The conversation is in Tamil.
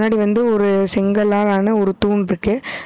முன்னாடி வந்து ஒரு செங்கல்ளால் ஆன ஒரு தூண் இருக்கு.